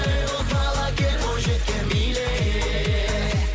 ей боз бала кел бойжеткен биле